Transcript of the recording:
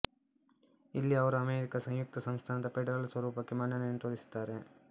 ಇಲ್ಲಿ ಅವರು ಅಮೆರಿಕ ಸಂಯುಕ್ತ ಸಂಸ್ಥಾನದ ಫೆಡರಲ್ ಸ್ವರೂಪಕ್ಕೆ ಮನ್ನಣೆಯನ್ನು ತೋರಿಸುತ್ತಾರೆ